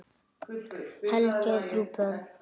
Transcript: Helgi á þrjú börn.